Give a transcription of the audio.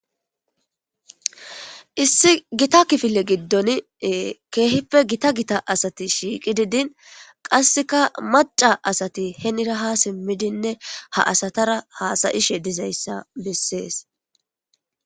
issi gita kifile giddon keehippe gita gita asati shiiqidi din qasseka maca asati henira ha simmidinne ha asatara haasayishe dizayssa bessees.